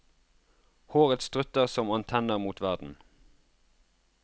Håret strutter som antenner mot verden.